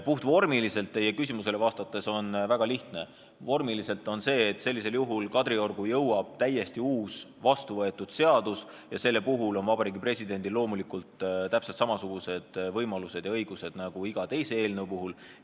Puhtvormiliselt on teie küsimusele vastata väga lihtne: sellisel juhul jõuab Kadriorgu täiesti uus vastuvõetud seadus ja selle puhul on Vabariigi Presidendil loomulikult täpselt samasugused võimalused ja õigused nagu iga teise eelnõu puhul.